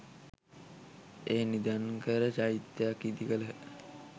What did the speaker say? එය නිධන් කර චෛත්‍යයක් ඉදි කළහ.